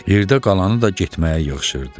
Yerdə qalanı da getməyə yığışırdı.